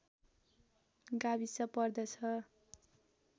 गाविस पर्दछ